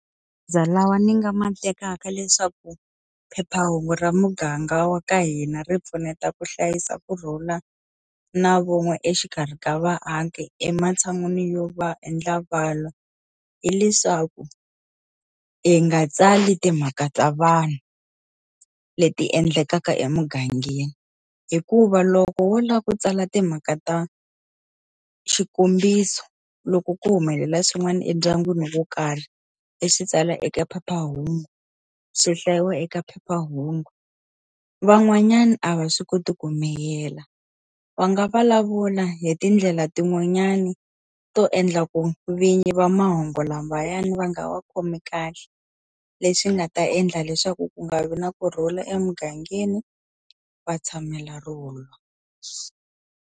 Lawa ni nga ma tekaka leswaku phephahungu ra muganga wa ka hina ri pfuneta ku hlayisa kurhula na vun'we exikarhi ka vaaki ematshan'wini yo va endla va lwa, hileswaku i nga tsali timhaka ta vanhu leti endlekaka emugangeni. Hikuva loko wo lava ku tsala timhaka ta xikombiso loko ku humelela swin'wana endyangwini wo karhi, u swi tsala eka phephahungu, swi hlayiwa eka phephahungu. Van'wanyana a va swi koti ku miyela, va nga vulavula hi tindlela tin'wanyani to endla ku vinyi va mahungu lamayani va nga wa khomi kahle. Leswi nga ta endla leswaku ku nga vi na kurhula emugangeni va tshamela ro lwa.